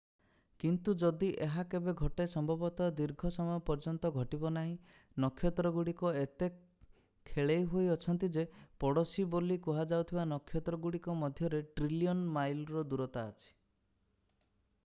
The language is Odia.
କିନ୍ତୁ ଯଦି ଏହା କେବେ ଘଟେ ସମ୍ଭବତଃ ଦୀର୍ଘ ସମୟ ପର୍ଯ୍ୟନ୍ତ ଘଟିବ ନାହିଁ। ନକ୍ଷତ୍ରଗୁଡ଼ିକ ଏତେ ଖେଳେଇ ହୋଇ ଅଛନ୍ତି ଯେ ପଡ଼ୋଶୀ” ବୋଲି କୁହାଯାଉଥିବା ନକ୍ଷତ୍ରଗୁଡ଼ିକ ମଧ୍ୟରେ ଟ୍ରିଲିୟନ୍ ମାଇଲ୍‌ର ଦୂରତା ଅଛି ।